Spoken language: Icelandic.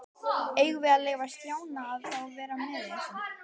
Eigum við að leyfa Stjána að vera með í þessu?